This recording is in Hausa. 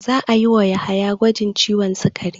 Za a yi wa Yahaya gwajin ciwon sikari.